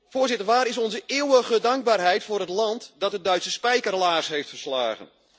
Voorzitter, waar is onze eeuwige dankbaarheid voor het land dat de Duitse spijkerlaars heeft verslagen?